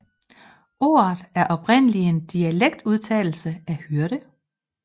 Ordet er oprindelig en dialektudtale af hyrde